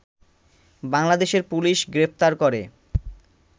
বাংলাদেশের পুলিশ গ্রেফতার করে